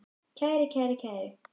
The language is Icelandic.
kæri, kæra, kæru